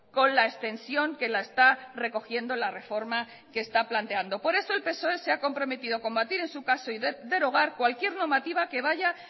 con la extensión que la está recogiendo la reforma que está planteando por eso el psoe se ha comprometido combatir en su caso y derogar cualquier normativa que vaya